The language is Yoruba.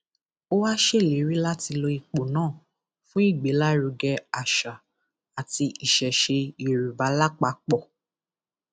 ó wá ṣèlérí láti lo ipò náà fún ìgbélárugẹ àṣà àti ìṣẹṣẹ yorùbá lápapọ